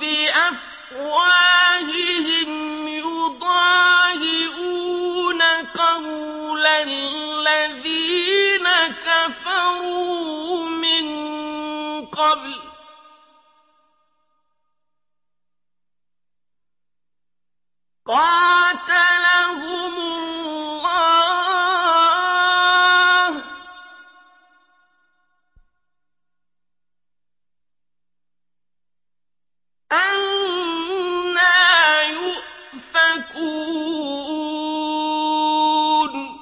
بِأَفْوَاهِهِمْ ۖ يُضَاهِئُونَ قَوْلَ الَّذِينَ كَفَرُوا مِن قَبْلُ ۚ قَاتَلَهُمُ اللَّهُ ۚ أَنَّىٰ يُؤْفَكُونَ